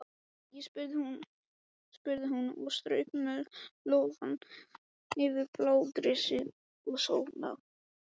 spurði hún og strauk með lófa yfir blágresi og sóleyjar.